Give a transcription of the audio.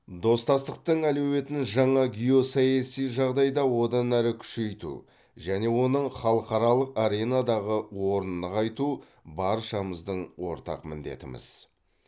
достастықтың әлеуетін жаңа геосаяси жағдайда одан әрі күшейту және оның халықаралық аренадағы орнын нығайту баршамыздың ортақ міндетіміз